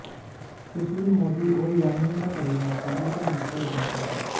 सुशील मोदी और यामिनी का परिवार शादी के मंच पर उपस्थित हैं